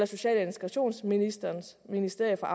social og integrationsministerens ministerie for